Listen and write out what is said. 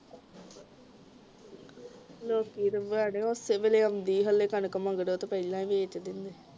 ਲੋਕੀਂ ਤੇ ਬੜੇ ਓਸੇ ਵੇਲੇ ਆਉਂਦੀ ਹਾਲੇ ਕਣਕ ਮਗਰੋਂ ਤੇ ਪਹਿਲਾਂ ਹੀ ਵੇਚ ਦਿੰਦੇ